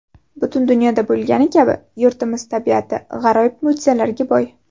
Butun dunyoda bo‘lgani kabi yurtimiz tabiati g‘aroyib mo‘jizalarga boy.